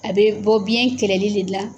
A bɛ bɔ biɲɛ kɛlɛli de la.